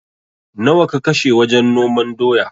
Nawa ka kashe wajen noman doya?